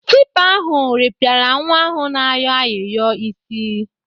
Tipa ahụ rịpịara nwa ahụ na-ayọ ayịyọ isi.